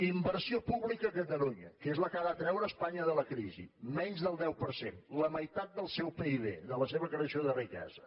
inversió pública a catalunya que és la que ha de treure espanya de la crisi menys del deu per cent la meitat del seu pib de la seva creació de riquesa